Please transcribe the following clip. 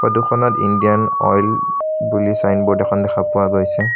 ফটোখনত Indian Oil বুলি signboard এখন দেখা পোৱা গৈছে।